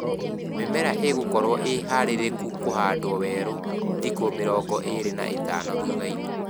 Mĩmera ĩgũkorwo ĩ harĩrĩku kũhandwo werũ thikũ mĩrongo ĩlĩ na ĩtano thuthainĩ